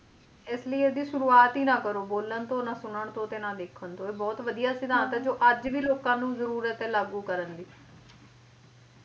ਇਸ ਲਈ ਇਹਦੀ ਸ਼ੁਰੂਵਾਤ ਹੀ ਨਾ ਕਰੋ ਬੋਲਣ ਤੋਂ ਨਾ ਸੁਣਨ ਤੋਂ ਨਾ ਦੇਖਣ ਤੋਂ ਇਹ ਬਹੁਤ ਵਧੀਆ ਸਿਧਾਂਤ ਆ ਜੋ ਅੱਜ ਵੀ ਲੋਕਾਂ ਨੂੰ ਜਰੂਰਤ ਐ ਲਾਗੂ ਕਰਨ ਦੀ